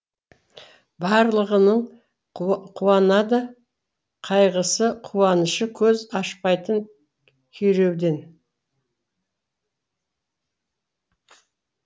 барлығының қуанады қайғысы қуанышы көз ашпайтын күйреуден